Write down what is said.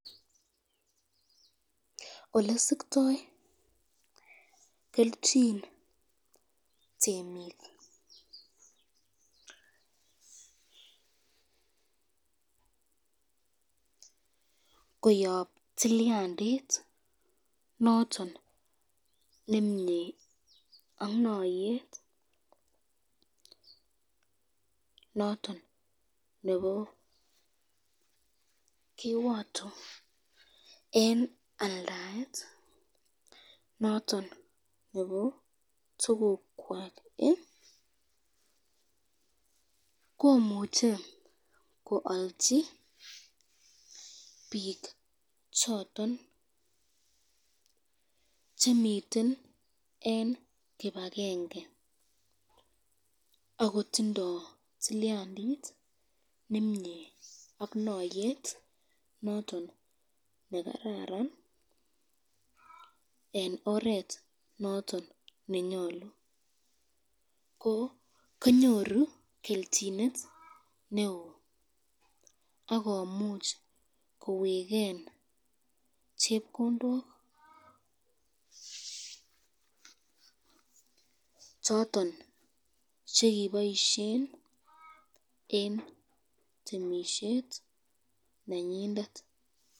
Olesiktoi kelchin temik koyan tilyandit noton nemnye ak nayet noton nebo kiwato eng aldaet noton nebo tukukwak koimuche koalchi bik choton chemiten ene kibakenge ,akotindo tilyandit nemnye ak noyet noton nekararan eng oret notin nenyolu, ko konyoru kelchinet ,akomuch koweken chepkondok choton chekiboisyen eng temisyet nenyindet.